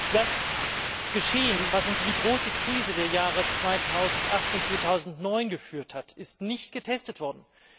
Das Geschehen, das uns in die große Krise der Jahre 2008 und 2009 geführt hat, ist nicht getestet worden.